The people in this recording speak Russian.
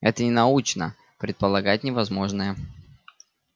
это ненаучно предполагать невозможное